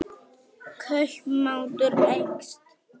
Kaupmáttur eykst